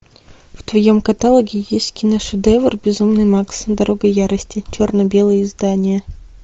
в твоем каталоге есть киношедевр безумный макс дорога ярости черно белое издание